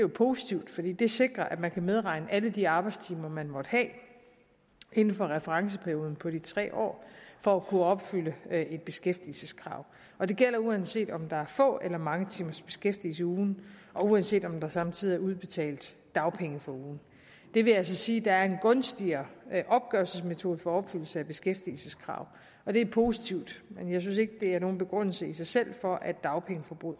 positivt fordi det sikrer at man kan medregne alle de arbejdstimer man måtte have inden for referenceperioden på de tre år for at kunne opfylde et beskæftigelseskrav og det gælder uanset om der er få eller mange timers beskæftigelse i ugen og uanset om der samtidig er udbetalt dagpenge for ugen det vil altså sige at der er en gunstigere opgørelsesmetode for opfyldelse af beskæftigelseskrav og det er positivt men jeg synes ikke det er nogen begrundelse i sig selv for at dagpengeforbruget